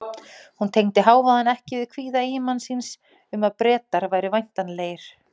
Hún tengdi hávaðann ekki við kvíða eiginmanns síns um að Bretar væru væntanlegir.